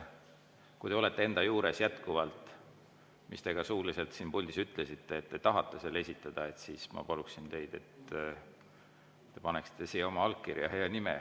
Kui te olete jätkuvalt enda arvamuse juures, mida te suuliselt puldis ütlesite, et te tahate selle esitada, siis ma paluksin teid, et te paneksite siia kirja oma allkirja ja nime.